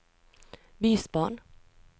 bysbarn